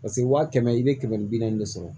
Paseke waa kɛmɛ i bɛ kɛmɛ ni bi naani de sɔrɔ